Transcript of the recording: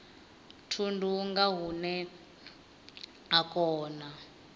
thundu nga hune a kona